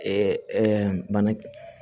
bana